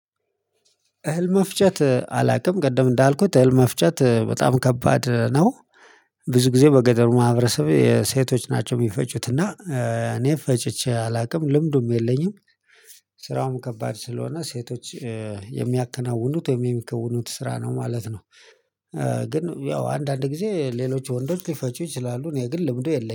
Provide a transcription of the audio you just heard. እህል መፍጨት አላቅም ቅድም እንዳልኩት እህል መፍጨት በጣም ከባድ ነው። ብዙ ጊዜ በገጠሩ ማህበረሰብ ሴቶች ናቸው ሚፈጩት እና እኔ ፈጭቼ አላቅም ልምዱም የለኝም። ስራውም ከባድ ስለሆነ ሴቶች የሚያከናውኑት ወይም የሚከውኑት ስራ ነው ማለት ነው። ግን ያው አንዳንድ ጊዜ ሌሎች ወንዶች ሊፈጩ ይችላሉ። እኔ ግን ልምዱ የለኝም